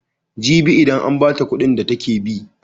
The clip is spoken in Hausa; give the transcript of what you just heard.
Jibi idan an ba ta kuɗin da take bi.